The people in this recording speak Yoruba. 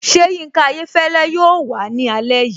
Ṣé Yinka Ayéfẹ́lẹ́ yóò wàá ní alẹ́ yìí?